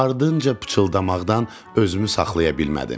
Ardınca pıçıldamaqdan özümü saxlaya bilmədim.